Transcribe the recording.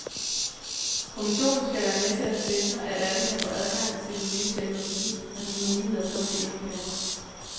Kommissionen skal være med til at sikre, at alle kan få adgang til den nye teknologi, og de muligheder som det indebærer.